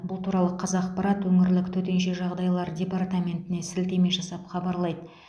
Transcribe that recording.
бұл туралы қазақпарат өңірлік төтенше жағдайлар департаментіне сілтеме жасап хабарлайды